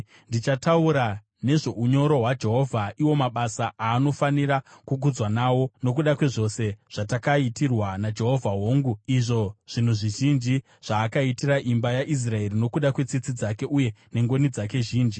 Ndichataura nezvounyoro hwaJehovha, iwo mabasa aanofanira kukudzwa nawo, nokuda kwezvose zvatakaitirwa naJehovha, hongu, izvo zvinhu zvizhinji zvaakaitira imba yaIsraeri, nokuda kwetsitsi dzake uye nengoni dzake zhinji.